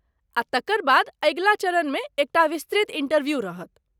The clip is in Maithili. आ तकर बाद अगिला चरणमे एकटा विस्तृत इंटरव्यू रहत।